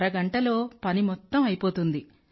అరగంటలో పని మొత్తం అయిపోతుంది